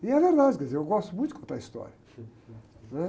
E é verdade, quer dizer, eu gosto muito de contar histórias. Né?